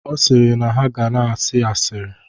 Ọ sịrị na ha ga na-asị asịrị.